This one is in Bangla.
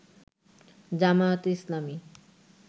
জামায়াতে ইসলামী